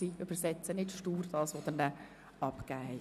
Sie übersetzen nicht stur, was Sie abgegeben haben.